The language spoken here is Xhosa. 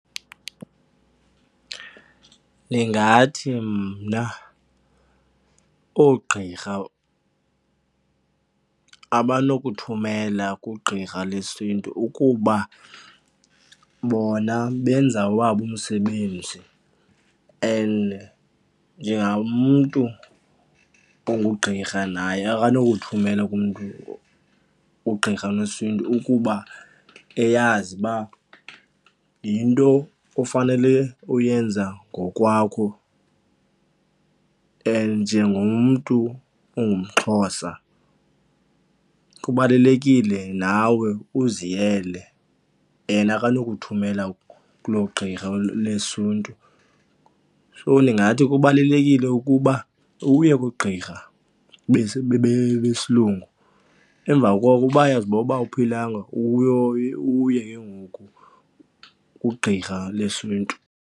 Ndingathi mna oogqirha abanokuthumela kwigqirha lesiNtu ukuba bona benza owabo umsebenzi and njengamntu ungugqirha naye akanokuthumela kumntu, ugqirha lesiNtu ukuba eyazi uba yinto ofanele uyenza ngokwakho. And njengomntu ongumXhosa kubalulekile nawe uziyele, yena akanokuthumela kuloo gqirha lesiNtu. So ndingathi kubalulekile ukuba uye kugqirha besilungu, emva koko uba uyazibona uba awuphilanga, uye ke ngoku kugqirha lesiNtu.